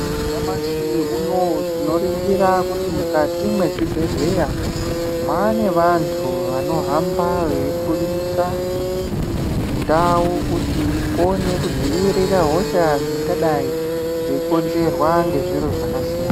Nyamashi unowo tinoringira kuti mukati muzvibhehleya mwane vantu vanohamba veifundisa ndau kuti ikone kudzivirira hosha dzingadai dzeikonzerwa ngezviro zvakasiyana